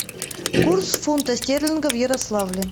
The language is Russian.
курс фунта стерлинга в ярославле